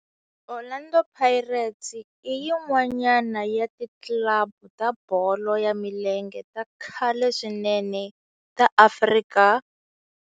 Orlando Pirates i yin'wana ya ti club ta bolo ya milenge ta khale swinene ta Afrika.